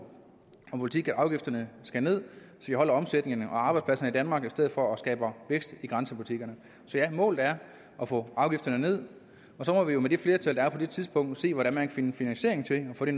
og politik at afgifterne skal ned vi holder omsætningen og arbejdspladserne i danmark i stedet for at skabe vækst i grænsebutikkerne så ja målet er at få afgifterne ned og så må vi jo med det flertal der er på det tidspunkt se hvordan man kan finde finansiering til at få det